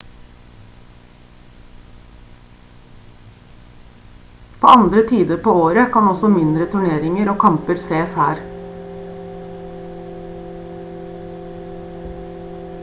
på andre tider på året kan også mindre turneringer og kamper ses her